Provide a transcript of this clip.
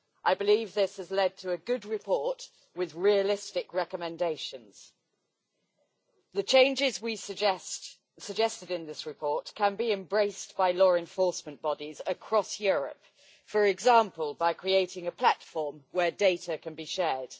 I believe this has led to a good report with realistic recommendations. The changes we suggested in this report can be embraced by law enforcement bodies across Europe, for example by creating a platform where data can be shared.